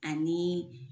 Ani